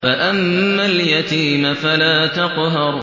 فَأَمَّا الْيَتِيمَ فَلَا تَقْهَرْ